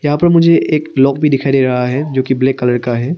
मुझे एक लॉक भी दिखाई दे रहा है जो कि ब्लैक कलर का है।